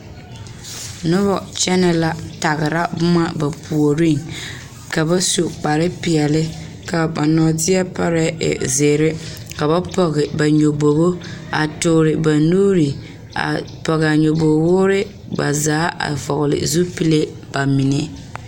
Noba kyɛnɛ la tagera boma ba puoriŋ ka su kpar peɛle kaa ba nɔɔte parɛɛ e zeere ka pɔge ba nyɔbogo a toore ba nuure a pɔge a nyɔboo woore ba zaa a vɔgele zupile ba menne